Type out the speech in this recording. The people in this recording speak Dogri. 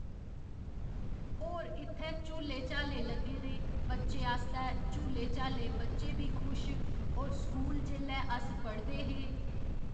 होर इत्थै झूले झाले लग्गे दे बच्चे आस्तै झूले झाले बच्चे बी खुश होर स्कूल जेल्लै अस पढ़दे हे